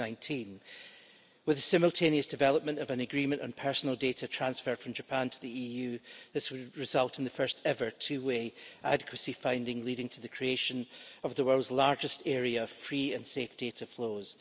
2019. With the simultaneous development of an agreement on personal data transfer from Japan to the EU, this will result in the first ever two way adequacy finding, leading to the creation of the world's largest area of free and safe data flows.